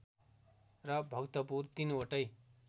र भक्तपुर ३ वटै